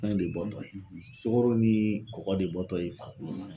Fɛn de bɔtɔ yen sukaro ni kɔgɔ de bɔtɔ ye